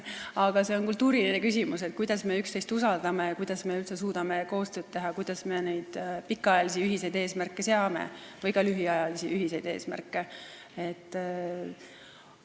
Aga see on kultuuriline küsimus, kui palju me üksteist usaldame, kuidas me üldse suudame koostööd teha ja kuidas me pikaajalisi või ka lühiajalisi ühiseid eesmärke seame.